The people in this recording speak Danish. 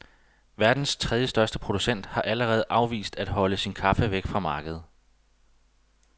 Verdens trediestørste producent har allerede afvist at holde sin kaffe væk fra markedet.